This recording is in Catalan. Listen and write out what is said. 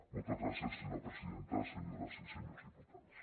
moltes gràcies senyora presidenta senyores i senyors diputats